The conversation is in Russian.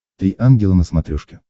три ангела на смотрешке